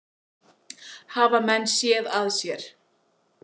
Hafa menn séð að sér?